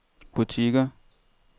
butikker